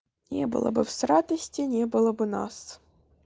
не было бы с радости не было бы нас